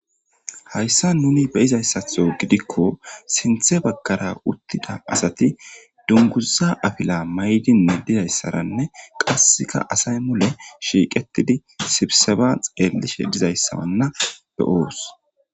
''Haysan nuni be'izaysatho gidikko sinthe bagara uttida asati dunguza afila mayidi de'izaysaranne qassika asay mule shiiqetidi sibseba xeelishe dizaysa wana be'oos.''